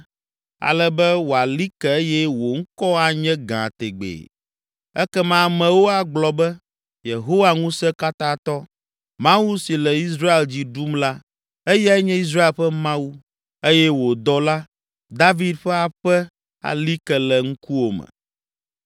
ale be wòali ke eye wò ŋkɔ anye gã tegbee. Ekema amewo agblɔ be, ‘Yehowa Ŋusẽkatãtɔ, Mawu si le Israel dzi ɖum la, eyae nye Israel ƒe Mawu!’ Eye wò dɔla, David ƒe aƒe ali ke le ŋkuwòme.